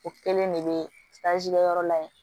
O kelen de bɛ kɛ yɔrɔ la yen